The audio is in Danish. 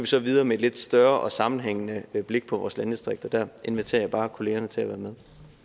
så videre med et lidt større og sammenhængende blik på vores landdistrikter der inviterer jeg bare kollegerne til at være med